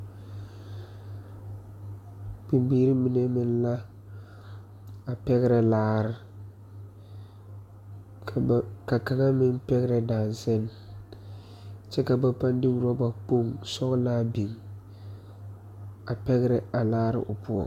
Bibiire mine meŋ la a pɛgrɛ laare ka ba ka kaŋa meŋ pɛgrɛ daŋsane kyɛ ka ba paŋ de rɔba kpoŋ sɔglaa biŋ a pɛgrɛ a laare o poɔŋ.